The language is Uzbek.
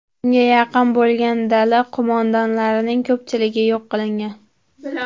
Unga yaqin bo‘lgan dala qo‘mondonlarining ko‘pchiligi yo‘q qilingan.